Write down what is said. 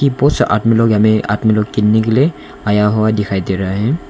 बहुत सा आदमी लोग हमें आदमी लोग किनने के लिए आया हुआ दिखाई दे रहा है।